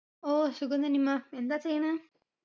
ഓ സുഖം നനിമാ എന്താ ചെയ്യണ്